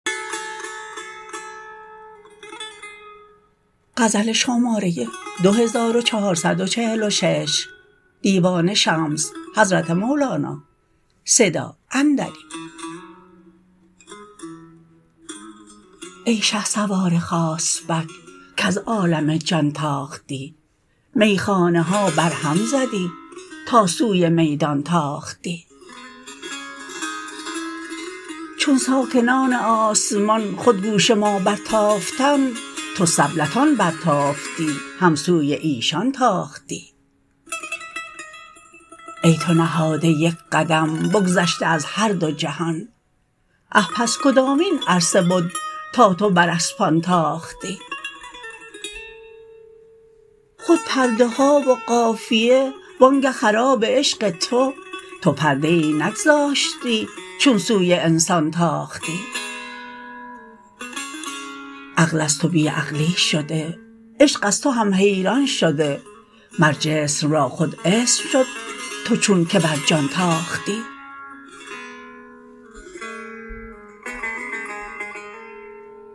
ای شهسوار خاص بک کز عالم جان تاختی میخانه ها برهم زدی تا سوی میدان تاختی چون ساکنان آسمان خود گوش ما برتافتند تو سبلتان برتافتی هم سوی ایشان تاختی ای تو نهاده یک قدم بگذشته از هر دو جهان آه پس کدامین عرصه بد تا تو بر اسبان تاختی خود پرده ها و قافیه وآنگه خراب عشق تو تو پرده ای نگذاشتی چون سوی انسان تاختی عقل از تو بی عقلی شده عشق از تو هم حیران شده مر جسم را خود اسم شد تو چونک بر جان تاختی